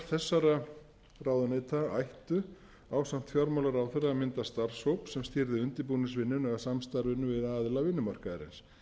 þessara ráðuneyta ættu ásamt fjármálaráðherra að mynda starfshóp sem stýrði undirbúningsvinnunni eða samstarfinu við aðila vinnumarkaðarins